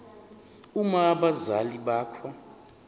uma abazali bakho